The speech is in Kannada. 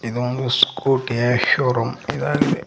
ಇದೊಂದು ಸ್ಕೋಟಿಯ ಶೋ ರೂಮ್ ಇದಾಗಿದೆ.